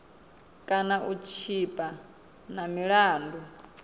kana u tshipa na milandu